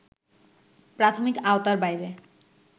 প্রাথমিক আওতার বাইরে